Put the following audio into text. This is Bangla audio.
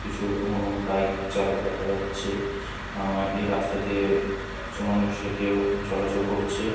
কিছু উহ বাইক চালক দেখা যাচ্ছে আহ এই রাস্তা দিয়ে কিছু মানুষ হেঁটেও চলাচল করছে।